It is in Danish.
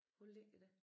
Hvor ligger det?